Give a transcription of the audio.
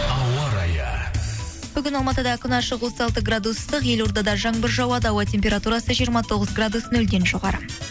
ауа райы бүгін алматыда күн ашық отыз алты градус ыстық елордада жаңбыр жауады ауа температурасы жиырма тоғыз градус нөлден жоғары